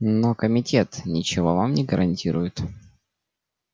но комитет ничего вам не гарантирует